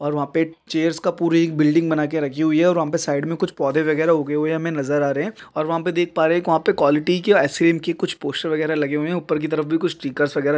और वहां पर चेयर्स का पूरी बिल्डिंग बना के रखी हुई है और वहां पर साइड में कुछ पौधे वगैरह उगे हुए है हमें नजर आ रहे हैं और वहां पर देख पा रहे हैं वहां पर क्वालिटी क्यों आइसक्रीम की कुछ पोस्टर वगैरा लगे हुए हैं ऊपर की तरफ भी कुछ स्टिकेर्स वगेरा--